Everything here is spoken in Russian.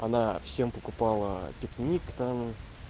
она всем покупала пикник там